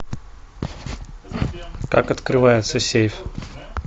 как открывается сейф